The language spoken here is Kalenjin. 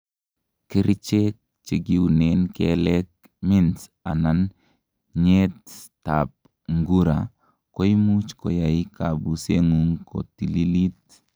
kerichek chekiunen keleek, mints anan nyeet ab ngura koimuch koyai kabusengung kotililit